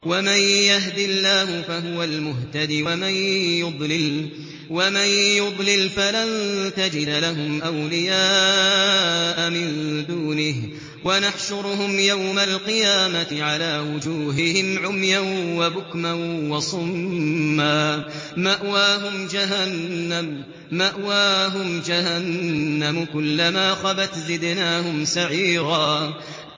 وَمَن يَهْدِ اللَّهُ فَهُوَ الْمُهْتَدِ ۖ وَمَن يُضْلِلْ فَلَن تَجِدَ لَهُمْ أَوْلِيَاءَ مِن دُونِهِ ۖ وَنَحْشُرُهُمْ يَوْمَ الْقِيَامَةِ عَلَىٰ وُجُوهِهِمْ عُمْيًا وَبُكْمًا وَصُمًّا ۖ مَّأْوَاهُمْ جَهَنَّمُ ۖ كُلَّمَا خَبَتْ زِدْنَاهُمْ سَعِيرًا